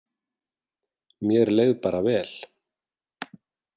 Mér leið bara vel.